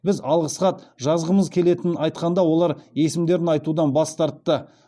біз алғыс хат жазғымыз келетінін айтқанда олар есімдерін айтудан бас тартты